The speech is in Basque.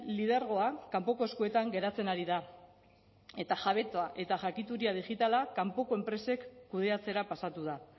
lidergoa kanpoko eskuetan geratzen ari da eta jabetza eta jakituria digitala kanpoko enpresek kudeatzera pasatu da